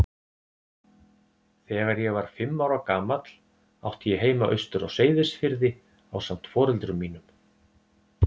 Þegar ég var fimm ára gamall átti ég heima austur á Seyðisfirði ásamt foreldrum mínum.